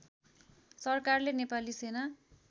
सरकारले नेपाली सेना